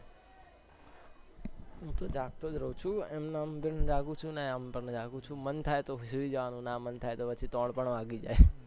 હું તો જાગતો રહુ છુ એમને એમ જગ્ગુ છુ મન થાય તો સુઈ જવાનું ના મન થાય તો ત્રણ પણ વાગી જાય છે